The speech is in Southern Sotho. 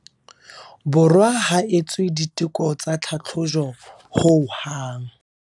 Borwa ha etswe diteko tsa tlhatlhojo hohang.